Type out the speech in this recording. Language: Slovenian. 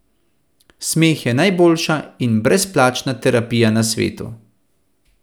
Smeh je najboljša in brezplačna terapija na svetu!